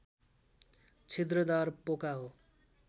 छिद्रदार पोका हो